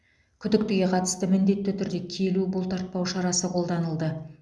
күдіктіге қатысты міндетті түрде келу бұлтартпау шарасы қолданылды